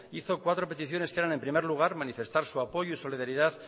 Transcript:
hizo cuatro peticiones en primer lugar manifestar su apoyo y solidaridad